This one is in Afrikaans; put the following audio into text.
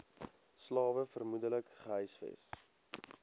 slawe vermoedelik gehuisves